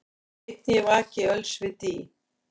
Einn ég vaki öls við dý,